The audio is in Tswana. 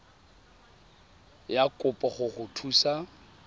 ya kopo go go thusa